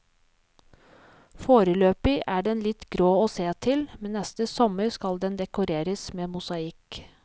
Foreløpig er den litt grå å se til, men neste sommer skal den dekoreres med mosaikk.